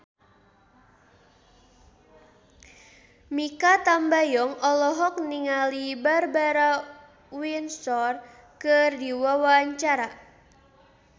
Mikha Tambayong olohok ningali Barbara Windsor keur diwawancara